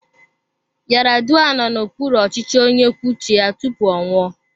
Yaradua nọ n'okpuru ọchịchị onye kwuo uche ya tupu ọ nwụọ.